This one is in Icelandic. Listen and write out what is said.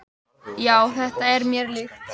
"""Já, þetta er mér líkt."""